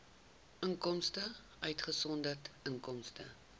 inkomste uitgesonderd inkomste